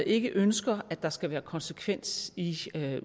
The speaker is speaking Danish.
ikke ønsker at der skal være konsekvens i